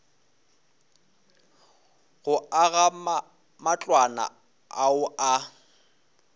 go aga matlwana ao a